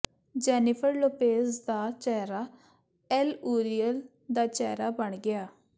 Jennifer Lopez ਦਾ ਚਿਹਰਾ L'Oreal ਦਾ ਚਿਹਰਾ ਬਣ ਗਿਆ